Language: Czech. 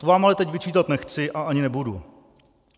To vám ale teď vyčítat nechci a ani nebudu.